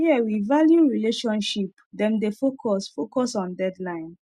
here we value relationship dem dey focus focus on deadline